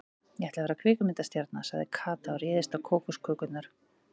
Ég ætla að verða kvikmyndastjarna sagði Kata og réðst á kókoskökurnar.